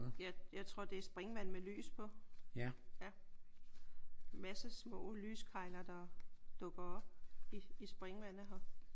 Jeg jeg tror det er springvand med lys på. Masse små lyskegler der dukker op i springvandet her